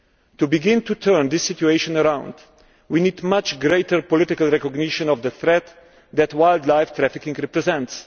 To begin to turn this situation around, we need much greater political recognition of the threat that wildlife trafficking represents.